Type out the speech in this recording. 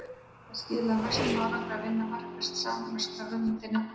Það skilar mestum árangri að vinna markvisst saman og skrá hugmyndir niður á blað.